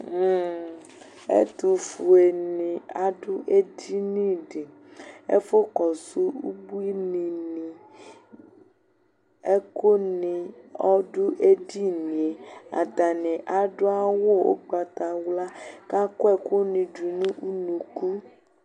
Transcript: Ɛtʋfuenɩ adʋ edini dɩ, ɛfʋkɔsʋ ubuinɩnɩ Ɛkʋnɩ ɔdʋ edini yɛ Atanɩ adʋ awʋ ʋgbatawla kʋ akɔ ɛkʋnɩ dʋ nʋ unuku